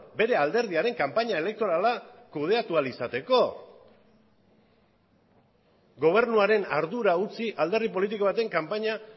bere alderdiaren kanpaina elektorala kudeatu ahal izateko gobernuaren ardura utzi alderdi politiko baten kanpaina